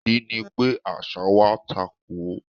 Ìdí ni pé àṣà wa takò ó.